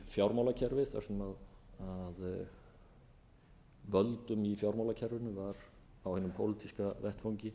fjármálakerfið þar sem völdum í fjármálakerfinu var á hinum pólitíska vettvangi